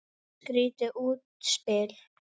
Skrýtið útspil.